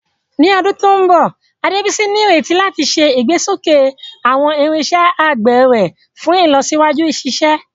Ní ọdún tó ń bọ̀, Adebisi ní ìrètí láti ṣe ìgbésókè àwọn irinṣẹ́ àgbẹ̀ rẹ̀ fún ìlọsíwájú ìṣiṣẹ́.